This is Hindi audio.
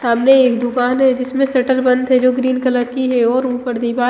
सामने एक दूकान है जिसमे सटर बंद है जो ग्रीन कलर की है और उपर दीवाल --